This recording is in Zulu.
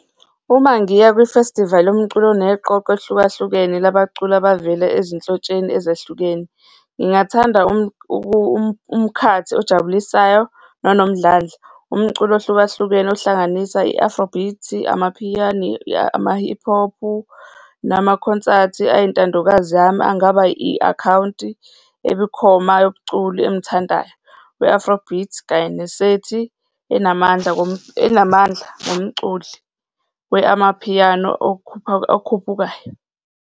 Uma ngiya kwifestivali yomculo oneqoqo elihlukahlukene labaculi abavele ezinhlotsheni ezehlukene. Ngingathanda umkhathi ojabulisayo nonomdlandla, umculo ohlukahlukene ohlanganisa i-Afro Beats, Amapiano, ama-Hip Hop, namakhonsathi ayintandokazi yami angaba i-akhawunti ebukhoma yomculi engimthandayo, we-Afro Beats kanye nesethi enamandla enamandla womculi we-amapiyano okhuphukayo.